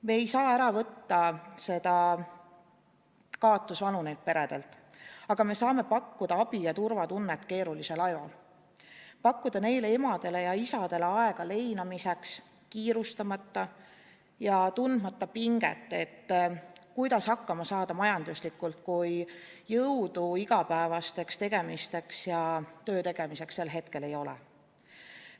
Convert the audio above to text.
Me ei saa ära võtta neilt peredelt kaotusvalu, aga me saame pakkuda abi ja turvatunnet keerulisel ajal, pakkuda neile emadele ja isadele aega leinamiseks, kiirustamata ja tundmata pinget, kuidas saada majanduslikult hakkama, kui jõudu igapäevasteks tegemisteks ja töö tegemiseks ei ole.